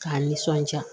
K'a nisɔndiya